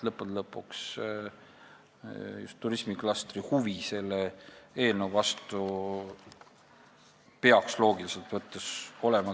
Lõppude lõpuks peaks loogiliselt võttes just turismiklastri huvi selle eelnõu vastu kõige suurem olema.